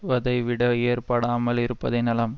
வதைவிட ஏற்படாமல் இருப்பதே நலம்